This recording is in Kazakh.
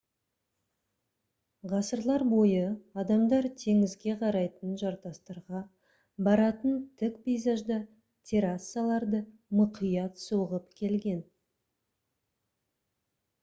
ғасырлар бойы адамдар теңізге қарайтын жартастарға баратын тік пейзажда террасаларды мұқият соғып келген